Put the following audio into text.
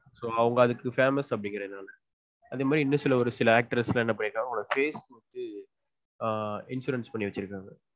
So அதுக்கு அவங்க famous அப்டின்றதுனால அந்த மாதிரி industries